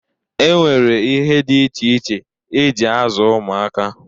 E nwere ihe dị iche iche e ji azụ ụmụaka.